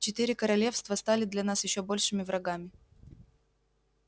четыре королевства стали для нас ещё большими врагами